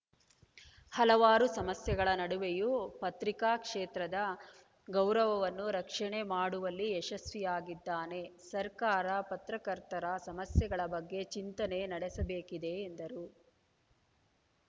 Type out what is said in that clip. ಹಲವಾರು ಸಮಸ್ಯೆಗಳ ನಡುವೆಯೂ ಪತ್ರಿಕಾ ಕ್ಷೇತ್ರದ ಗೌರವವನ್ನು ರಕ್ಷಣೆ ಮಾಡುವಲ್ಲಿ ಯಶಸ್ವಿಯಾಗಿದ್ದಾನೆ ಸರ್ಕಾರ ಪತ್ರಕರ್ತರ ಸಮಸ್ಯೆಗಳ ಬಗ್ಗೆ ಚಿಂತನೆ ನಡೆಸಬೇಕಿದೆ ಎಂದರು